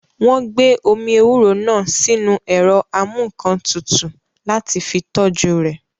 Wọ́n gbé omi ewúro náà sínu ẹ̀rọ amúǹkantutù láti fi tọ́jú rẹ̀